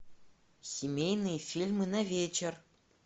семейные фильмы на вечер